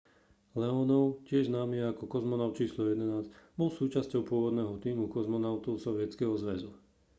leonov tiež známy ako kozmonaut č 11 bol súčasťou pôvodného tímu kozmonautov sovietskeho zväzu